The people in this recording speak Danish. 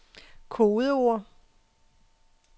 kodeord